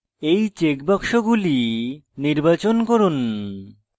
এই check box গুলি নির্বাচন করুন